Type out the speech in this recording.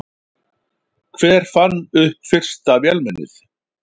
Hver fann upp fyrsta vélmennið?